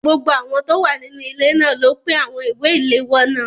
Gbogbo àwọn tó wà nínú ilé náà ló pín àwọn ìwé ìléwọ́ náà.